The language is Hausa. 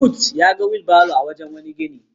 Mahmud ya ga wilbaro a wani wurin gini.